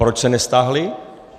Proč se nestáhly?